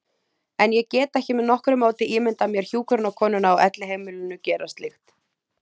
En ég get ekki með nokkru móti ímyndað mér hjúkrunarkonuna á elliheimilinu gera slíkt.